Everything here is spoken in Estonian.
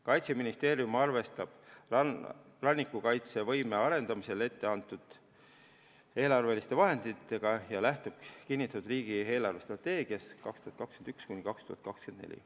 Kaitseministeerium arvestab rannikukaitsevõime arendamisel ette antud eelarveliste vahenditega ja lähtub kinnitatud riigi eelarvestrateegiast 2021–2024.